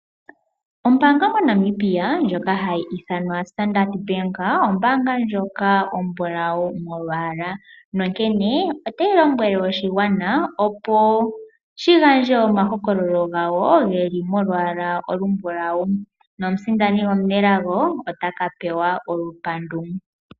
Ombaanga mo Namibia ndjoka hayi ithanwa standard bank. Ombaanga ndjoka ombulawu molwaala. Onkene otayi lombwele oshigwana opo shi gandje oma hokololo gawo geli molwaala olumbulawu. Nomusindani omunelago otaka pewa olupandu .